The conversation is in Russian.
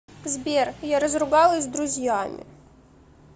сбер я разругалась с друзьями